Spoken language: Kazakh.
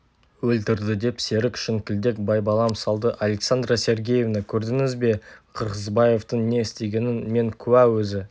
өлтірді деп серік шіңкілдек байбалам салды александра сергеевна көрдіңіз бе қырғызбаевтың не істегенін мен куә өзі